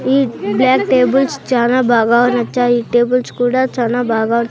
ఈ black tables చానా బాగా నచ్చాయి టేబుల్స్ కూడా చానా బాగా--